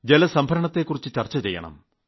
ജലസംഭരണത്തെക്കുറിച്ചും ചർച്ച ചെയ്യണം